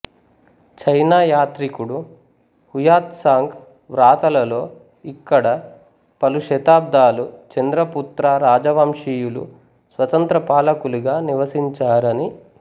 చైనాయాత్రికుడు Hiuen Tsang వ్రాతలలో ఇక్కడ పలు శతాబ్దాలు చంద్రపుత్ర రాజవంశీయులు స్వతంత్ర పాలకులుగా నివసించారని